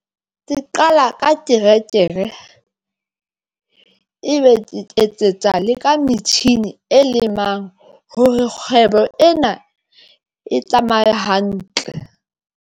Ke qala ka terekere ebe ke etsetsa le ka metjhini e lemang hore kgwebo ena e tsamaye hantle.